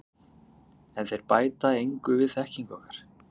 En þeir bæta engu við þekkingu okkar.